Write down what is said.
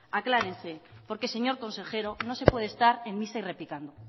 aclárense porque señor consejero no se puede estar en misa y replicando